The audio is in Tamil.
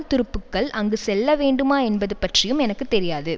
துருப்புக்கள் அங்கு செல்ல வேண்டுமா என்பது பற்றியும் எனக்கு தெரியாது